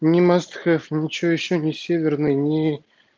не маст хэв ничего ещё не северный не